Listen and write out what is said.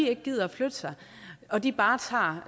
ikke gider at flytte sig og de bare tager